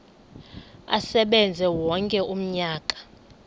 asebenze wonke umnyaka